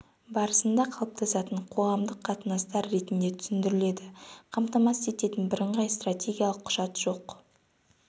барысында қалыптасатын қоғамдық қатынастар ретінде түсіндіріледі қамтамасыз ететін бірыңғай стратегиялық құжат жоқ